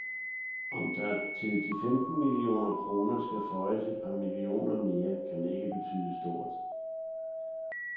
Om der til de femten millioner kroner skal føjes et par millioner mere, kan ikke betyde stort.